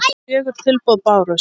Fjögur tilboð bárust.